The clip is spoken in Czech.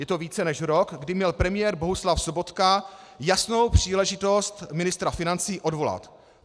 Je to více než rok, kdy měl premiér Bohuslav Sobotka jasnou příležitost ministra financí odvolat.